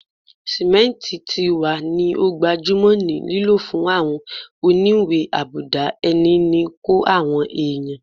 Simenti ti wa ni o gbajumo ni lilo fun awọn oniwe-abuda-ini ni ko awọn ẹya